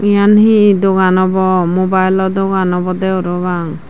yan hee dogan obow mobile lo dogan obodey parapang.